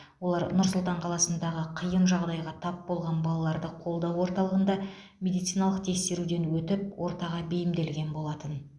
олар нұр сұлтан қаласындағы қиын жағдайға тап болған балаларды қолдау орталығында медициналық тексеруден өтіп ортаға бейімделген болатын